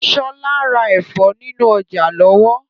Sọlá ń rà Ẹ̀fọ́ nínú ọjà lọ́wọ́.